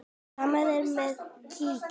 Sama er með kítti.